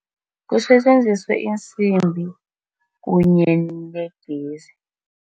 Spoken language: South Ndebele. Kusetjenziswe iinsimbi kunye negezi.